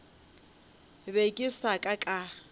be ke sa ka ka